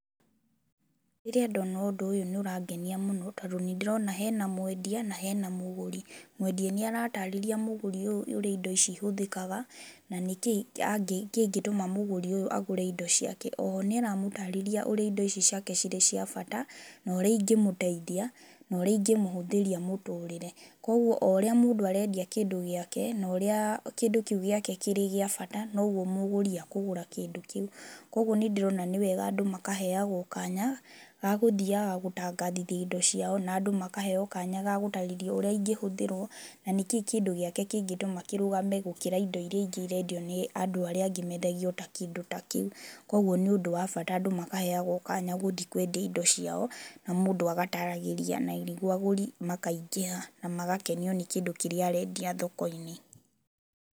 Rĩrĩa ndona ũndũ ũyũ nĩ ũrangenia mũno, tondũ nĩ ndĩrona hena mwendia na hena mũgũrĩ. Mwendia nĩ arataarĩria mũgũri ũyũ ũrĩa indo ici ihũthĩkaga na nĩ kĩĩ kĩngĩtũma mũgũri ũyũ agũre indo ciake. O ho nĩ aramũtarĩria ũrĩa indo ici ciake cirĩ cia bata na ũrĩa ingĩmũteithia, na ũrĩa ingĩmũhũthĩria mũtũrĩre. Koguo, o ũrĩa mũndũ arendia kĩndũ gĩake na ũrĩa kĩndũ kĩu gĩake kĩrĩ gĩa bata, noguo mũgũri akũgũra kĩndũ kĩu, koguo nĩ ndĩrona nĩ wega andũ makaheyagwo kaanya ga gũthiaga gũtangathithia indo ciao na andũ makaheyo kaanya ga gũtarĩria ũrĩa ingĩhũthĩrwo, na ningĩ kĩndũ gĩake kĩngĩtũma kĩrũgame gũkĩra indo iria ingĩ irendio nĩ andũ arĩa angĩ mendagia o ta kĩndũ ta kĩu. Koguo nĩ ũndũ wa bata andũ makaheyagwo kaanya gũthiĩ kwendia indo ciao, na mũndũ agataragĩria na nĩguo agũri makaingĩha na magakenio nĩ kĩndũ kĩrĩa arendia thoko-inĩ.